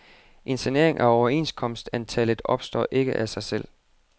En sanering af overenskomstantallet opstår ikke af sig selv.